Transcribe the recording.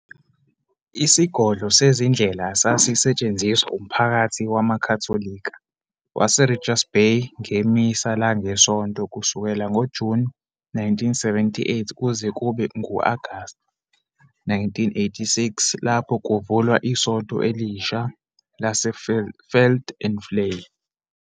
Isigodlo sezindela sasisetshenziswa umphakathi wamaKhatholika waseRichards Bay ngeMisa langeSonto kusukela ngoJuni 1978 kuze kube ngu-Agasti 1986 lapho kuvulwa isonto elisha lase-Veld-en-Vlei.